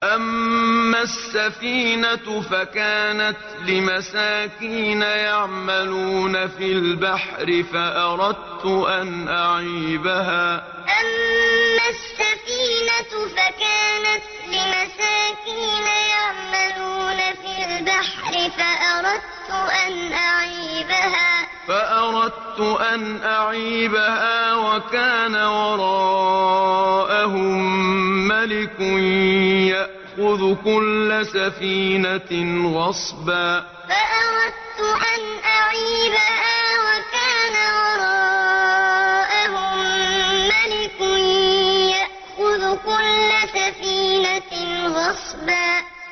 أَمَّا السَّفِينَةُ فَكَانَتْ لِمَسَاكِينَ يَعْمَلُونَ فِي الْبَحْرِ فَأَرَدتُّ أَنْ أَعِيبَهَا وَكَانَ وَرَاءَهُم مَّلِكٌ يَأْخُذُ كُلَّ سَفِينَةٍ غَصْبًا أَمَّا السَّفِينَةُ فَكَانَتْ لِمَسَاكِينَ يَعْمَلُونَ فِي الْبَحْرِ فَأَرَدتُّ أَنْ أَعِيبَهَا وَكَانَ وَرَاءَهُم مَّلِكٌ يَأْخُذُ كُلَّ سَفِينَةٍ غَصْبًا